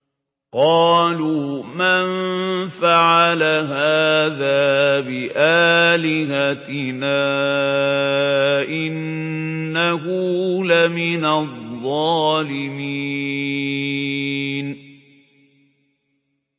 قَالُوا مَن فَعَلَ هَٰذَا بِآلِهَتِنَا إِنَّهُ لَمِنَ الظَّالِمِينَ